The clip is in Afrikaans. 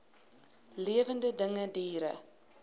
lewende dinge diere